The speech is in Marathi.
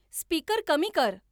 स्पीकर कमी कर